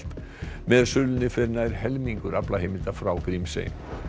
með sölunni fer nær helmingur aflaheimilda frá Grímsey